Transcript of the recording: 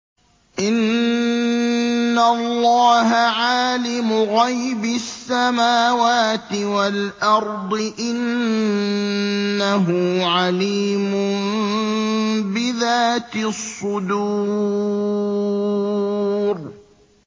إِنَّ اللَّهَ عَالِمُ غَيْبِ السَّمَاوَاتِ وَالْأَرْضِ ۚ إِنَّهُ عَلِيمٌ بِذَاتِ الصُّدُورِ